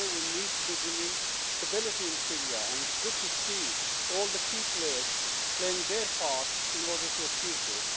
Today we need to be bringing stability in Syria, and it is good to see all the key players playing their part in order to achieve this.